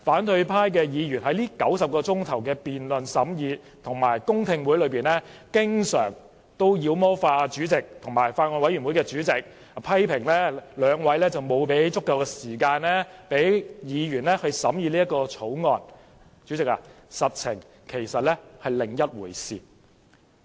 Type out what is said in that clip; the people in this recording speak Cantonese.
在這90小時的審議辯論及公聽會中，雖然反對派議員經常"妖魔化"主席及法案委員會主席，批評兩位沒有給予議員足夠時間審議《條例草案》，但實情卻是另一回事。